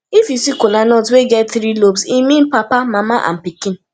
if yu see kolanut wey get tiri lobes e mean papa mama and pikin